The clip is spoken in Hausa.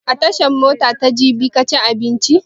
A tashan mota ta jabi ka ci abinci?